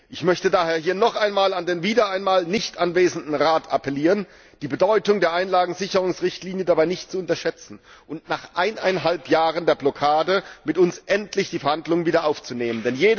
Ich möchte daher noch einmal an den wieder einmal nicht anwesenden Rat appellieren, die Bedeutung der Einlagensicherungsrichtlinie dabei nicht zu unterschätzen und nach eineinhalb Jahren der Blockade endlich die Verhandlungen mit uns wieder aufzunehmen!